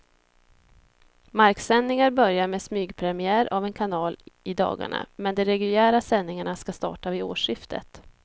Marksändningar börjar med smygpremiär av en kanal i dagarna, men de reguljära sändningarna ska starta vid årsskiftet.